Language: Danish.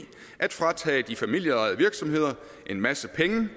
at fratage de familieejede virksomheder en masse penge